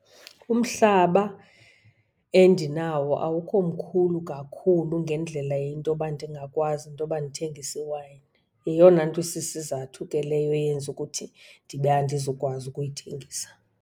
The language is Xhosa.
Umhlaba endinawo awukho mkhulu kakhulu ngendlela yento yoba ndingakwazi intoba ndithengise iwayini. Yeyona nto isisizathu ke leyo eyenza ukuthi ndibe andizukwazi ukuyithengisa.